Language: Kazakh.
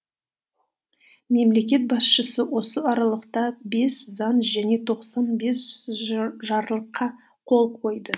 мемлекет басшысы осы аралықта бес заң және тоқсан бес жарлыққа қол қойды